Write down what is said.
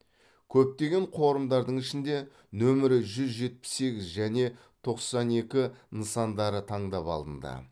көптеген қорымдардың ішінде нөмірі жүз жетпіс сегіз және тоқсан екі нысандары таңдап алынды